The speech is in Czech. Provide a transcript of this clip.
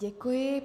Děkuji.